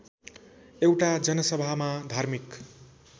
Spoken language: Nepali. एउटा जनसभामा धार्मिक